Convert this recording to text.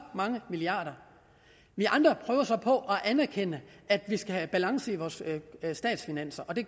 mange milliarder vi andre prøver så på at anerkende at vi skal have balance i vores statsfinanser og det